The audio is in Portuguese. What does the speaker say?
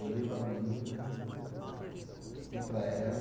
Eu olhei para a menina e para ela.